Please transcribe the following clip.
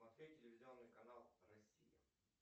смотреть телевизионный канал россия